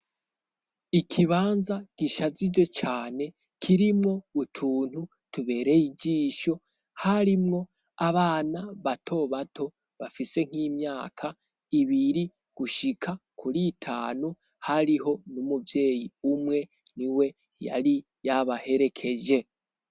Ikibanza gishajije cane kirimwo utuntu tubereye ijisho harimwo abana bato bato bafise nk'imyaka ibiri gushika kuri itanu hariho n'umuvyeyi umwe ni we yari yabaherekeje.